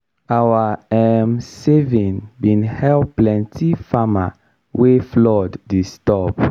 our um saving bin help plenty farmer wey flood disturb.